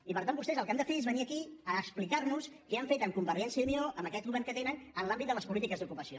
i per tant vostès el que han de fer és venir aquí a explicar nos què han fet amb convergència i unió amb aquest govern que tenen en l’àmbit de les polítiques d’ocupació